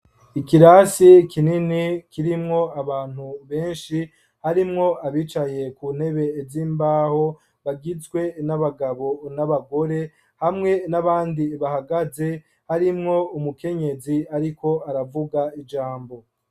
Ikirasi kinini, kirimwo abantu benshi, harimwo abicaye, ku ntebe z'imbaho, bagizwe n'abagabo, n'abagore; hamwe n'abandi, bahagaze, harimwo umukenyezi, ariko aravuga ijambo.